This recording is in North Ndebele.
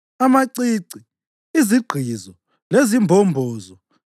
amacici, izigqizo lezimbombozo,